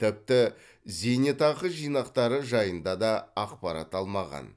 тіпті зейнетақы жинақтары жайында да ақпарат алмаған